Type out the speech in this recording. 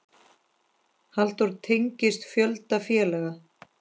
Halldór tengist fjölda félaga.